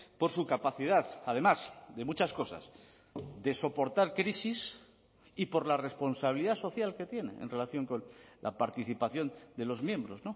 por su capacidad además de muchas cosas de soportar crisis y por la responsabilidad social que tiene en relación con la participación de los miembros